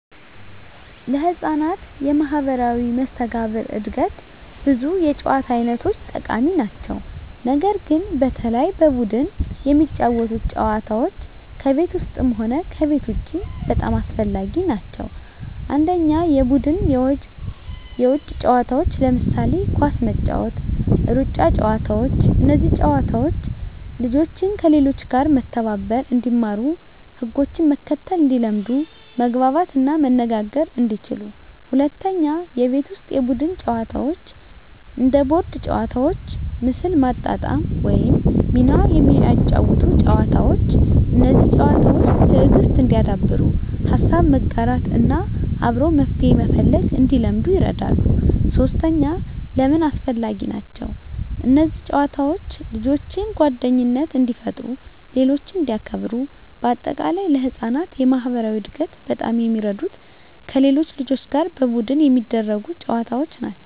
ለሕፃናት የማኅበራዊ መስተጋብር እድገት ብዙ የጨዋታ አይነቶች ጠቃሚ ናቸው። ነገር ግን በተለይ በቡድን የሚጫወቱ ጨዋታዎች ከቤት ውስጥም ሆነ ከቤት ውጭ በጣም አስፈላጊ ናቸው። 1. የቡድን የውጭ ጨዋታዎች ለምሳሌ ኳስ መጫወት፣ ሩጫ ጨዋታዎች እነዚህ ጨዋታዎች ልጆችን፦ ከሌሎች ጋር መተባበር እንዲማሩ ህጎችን መከተል እንዲለምዱ መግባባት እና መነጋገር እንዲችሉ 2. የቤት ውስጥ የቡድን ጨዋታዎች እንደ ቦርድ ጨዋታዎች፣ ምስል ማጣጣም ወይም ሚና የሚያጫውቱ ጨዋታዎች። እነዚህ ጨዋታዎች፦ ትዕግሥት እንዲያዳብሩ፣ ሀሳብ መጋራት እና አብሮ መፍትሄ መፈለግ እንዲለምዱ ይረዳሉ። 3. ለምን አስፈላጊ ናቸው? እነዚህ ጨዋታዎች ልጆችን፦ ጓደኝነት እንዲፈጥሩ ሌሎችን እንዲያክብሩ -በ አጠቃላይ: ለሕፃናት የማኅበራዊ እድገት በጣም የሚረዱት ከሌሎች ልጆች ጋር በቡድን የሚደረጉ ጨዋታዎች ናቸው።